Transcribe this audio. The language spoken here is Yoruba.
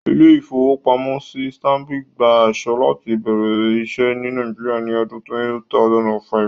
Ilé-ìfowópamọ́sí Stanbic gba àṣẹ láti bẹ̀rẹ̀ iṣẹ́ ní Nàìjíríà ní ọdún 2005